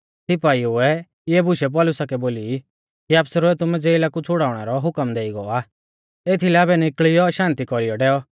सिपाइऐ इऐ बुशै पौलुसा कै बोली कि आफसरै तुमु ज़ेला कु छ़ाड़नै रौ हुकम देई गौ आ एथीलै आबै निकल़ियौ शान्ति कौरीऐ डैऔ